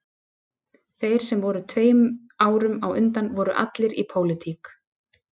Þeir sem voru tveim árum á undan voru allir í pólitík